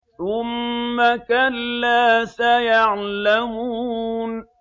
ثُمَّ كَلَّا سَيَعْلَمُونَ